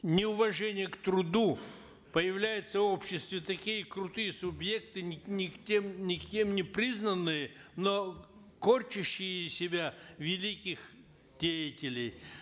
неуважение к труду появляются в обществе такие крутые субъекты никем никем не признанные но корчащие из себя великих деятелей